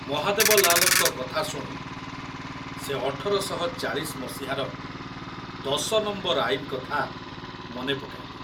ମହାଦେବ ଲାଲଙ୍କ କଥା ଶୁଣି ସେ ଅଠର ଶହ ଚାଳୀଶି ମସିହାର ଦଶ ନମ୍ବର ଆଇନ କଥା ମନେ ପକାଇଲେ।